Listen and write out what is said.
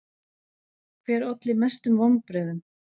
Hver olli mestum vonbrigðum?